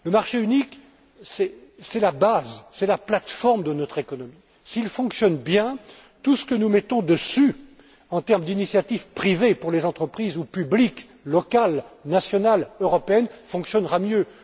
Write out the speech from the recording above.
Le marché unique, c'est la base, c'est la plateforme de notre économie. S'il fonctionne bien, tout ce que nous mettons dessus en termes d'initiatives privées pour les entreprises ou publiques locales, nationales, européennes, fonctionnera mieux.